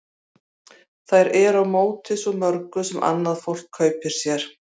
Þau eru á móti svo mörgu sem annað fólk kaupir sér.